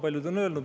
Paljud ongi öelnud.